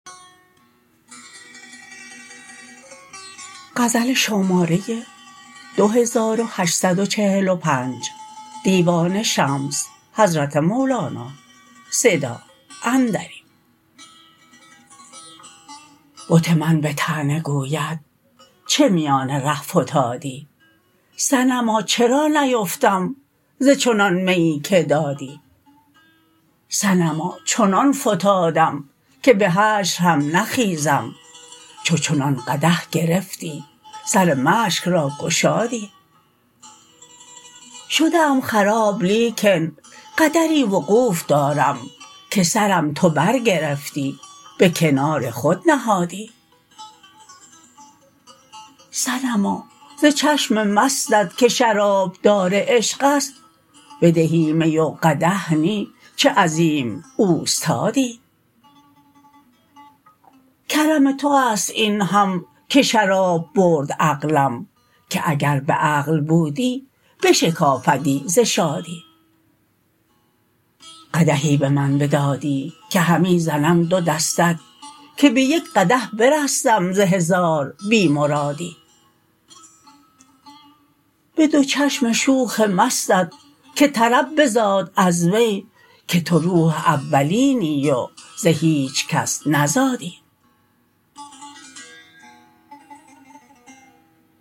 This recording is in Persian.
بت من به طعنه گوید چه میان ره فتادی صنما چرا نیفتم ز چنان میی که دادی صنما چنان فتادم که به حشر هم نخیزم چو چنان قدح گرفتی سر مشک را گشادی شده ام خراب لیکن قدری وقوف دارم که سرم تو برگرفتی به کنار خود نهادی صنما ز چشم مستت که شرابدار عشق است بدهی می و قدح نی چه عظیم اوستادی کرم تو است این هم که شراب برد عقلم که اگر به عقل بودی شکافدی ز شادی قدحی به من بدادی که همی زنم دو دستک که به یک قدح برستم ز هزار بی مرادی به دو چشم شوخ مستت که طرب بزاد از وی که تو روح اولینی و ز هیچ کس نزادی